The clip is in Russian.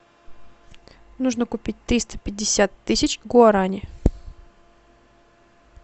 нужно купить триста пятьдесят тысяч гуарани